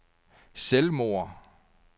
selvmord